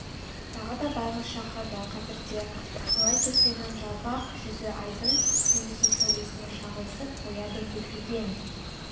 тағы да байғыз шақырды қазір де солай кетпеннің жалпақ жүзі айдың жылусыз сәулесіне шағылысып қояды көлкіген